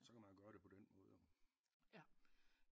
Så kan man jo gøre det på den måde jo